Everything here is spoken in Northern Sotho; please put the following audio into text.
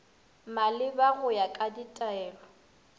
maleba go ya ka ditaelo